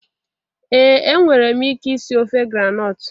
Ee enwere m ike isi ofe groundnut